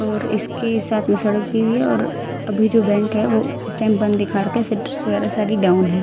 और इसके साथ में सड़क की हुई है और अभी जो बैंक है वो इस टाइम बंद दिखा रखा है सेटर्स वगैरह सारी डाउन हैं।